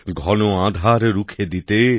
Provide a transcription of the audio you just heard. ঘন আধার রুখে দিতে